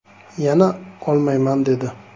Yana olmayman dedi”.